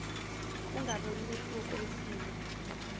ungaboni mehluko wesimo